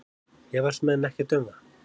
Efast menn ekkert um það?